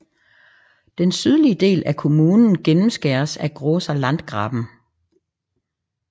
Den sydlige del af kommunen gennemskæres af Großer Landgraben